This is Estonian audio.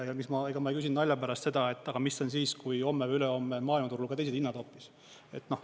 Ja ega ma ei küsinud nalja pärast seda, et aga mis on siis, kui homme või ülehomme on maailmaturul ka teised hinnad hoopis.